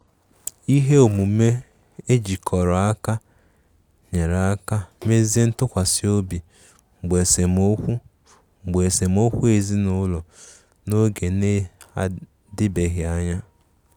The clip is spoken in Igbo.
Ihe omume ejikọrọ aka nyere aka mezie ntụkwasi obi mgbe esemokwu mgbe esemokwu ezinụlọ n'oge na-adibeghị anya.